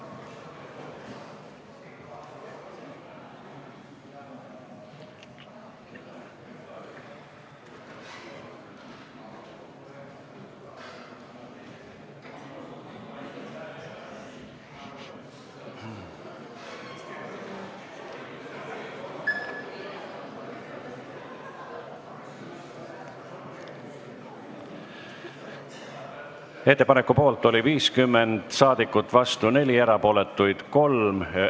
Hääletustulemused Ettepaneku poolt oli 50 saadikut, vastu 4, erapooletuks jäi 3.